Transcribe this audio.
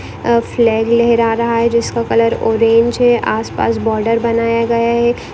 अ flag लेहरा रहा है जिसका कलर ओरेंज है आस पास बॉर्डर बनाया गया है।